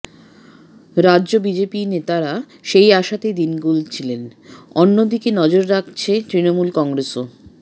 রাজ্য বিজেপির নেতারা সেই আশাতেই দিন গুলছেন অন্যদিকে নজর রাখছে তৃণমূল কংগ্রেসও